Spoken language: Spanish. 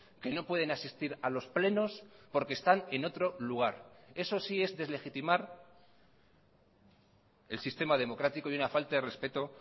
que no pueden asistir a los plenos porque están en otro lugar eso sí es deslegitimar el sistema democrático y una falta de respeto